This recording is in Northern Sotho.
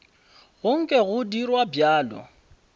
go nke go dirwa bjalo